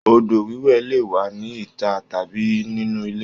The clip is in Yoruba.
Odo wiwẹ le wà ní ita tàbí nínu ilé.